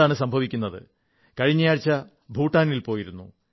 എന്താണ് സംഭവിക്കുന്നത് കഴിഞ്ഞയാഴ്ച ഭൂട്ടാനിൽ പോയിരുന്നു